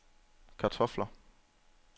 kartofler